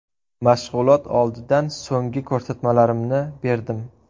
Mashg‘ulot oldidan so‘nggi ko‘rsatmalarimni berdim.